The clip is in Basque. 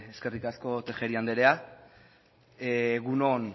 eskerrik asko tejeria andrea egun on